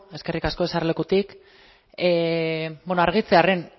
eskerrik asko eserlekutik bueno argitzearren